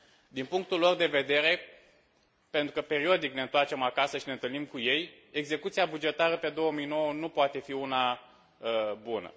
Din punctul lor de vedere, pentru că periodic ne întoarcem acasă și ne întâlnim cu ei, execuția bugetară pe 2009 nu poate fi una bună.